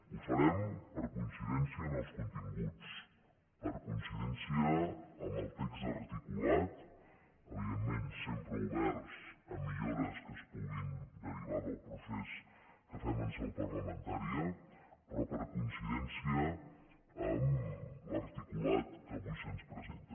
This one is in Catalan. ho farem per coincidència amb els continguts per coincidència amb el text articulat evidentment sempre oberts a millores que es puguin derivar del procés que fem en seu parlamentària però per coincidència amb l’articulat que avui se’ns presenta